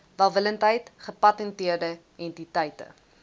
welwillendheid gepatenteerde entiteite